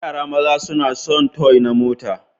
Yara maza suna sun toy na mota.